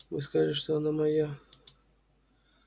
вы сказали что она моя